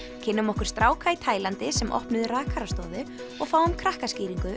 kynnum okkur stráka í Taílandi sem opnuðu rakarastofu og fáum